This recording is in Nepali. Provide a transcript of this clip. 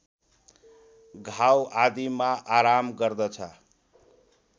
घाउ आदिमा आराम गर्दछ